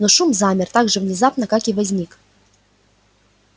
но шум замер так же внезапно как и возник